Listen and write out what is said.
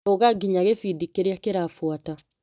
Rũga nginya gĩbindi kĩrĩa kĩrabuata .